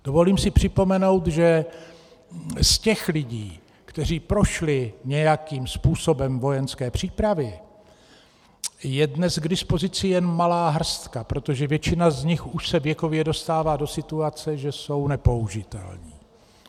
Dovolím si připomenout, že z těch lidí, kteří prošli nějakým způsobem vojenské přípravy, je dnes k dispozici jen malá hrstka, protože většina z nich už se věkově dostává do situace, že jsou nepoužitelní.